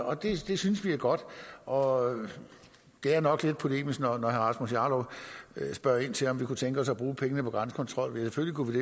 og det synes vi er godt og det er nok lidt polemisk når herre rasmus jarlov spørger ind til om vi kunne tænke os at bruge pengene på grænsekontrol ja selvfølgelig kunne vi